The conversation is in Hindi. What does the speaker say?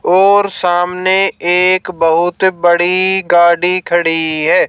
और सामने एक बहुत बड़ी गाड़ी खड़ी है।